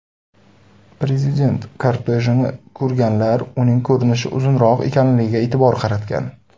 Prezident kortejini ko‘rganlar uning ko‘rinishi uzunroq ekanligiga e’tibor qaratgan.